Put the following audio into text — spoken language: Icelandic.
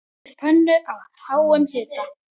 Hitið pönnu á háum hita.